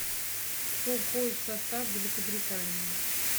кто входит в состав великобритании